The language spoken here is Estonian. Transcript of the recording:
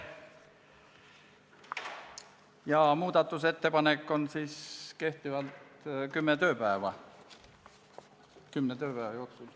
Muudatusettepanekuid tuleb teha kümne tööpäeva jooksul.